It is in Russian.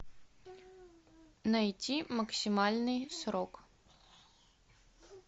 найти максимальный срок